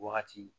Wagati